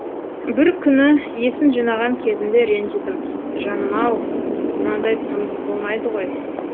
бір күні есін жинаған кезінде ренжідім жаным ау мынандай тұрмыс болмайды ғой